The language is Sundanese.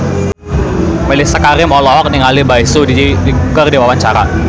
Mellisa Karim olohok ningali Bae Su Ji keur diwawancara